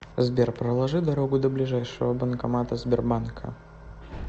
сбер проложи дорогу до ближайшего банкомата сбербанка